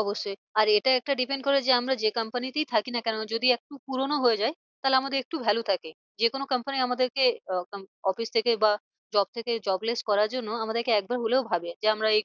অবশ্যই আর এটা একটা depend করে যে আমরা যে company তেই থাকি না কেন যদি একটু পুরোনো হয়ে যায় তাহলে আমাদের একটু valu থাকে। যে কোনো company আমাদেরকে আহ office থেকে বা job থেকে jobless করার জন্য আমাদেরকে একবার হলেও ভাবে যে আমরা এই